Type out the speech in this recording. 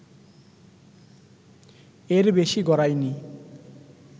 এর বেশি গড়ায়নি